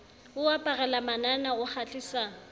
o aparela manana o kgahlisa